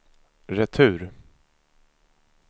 retur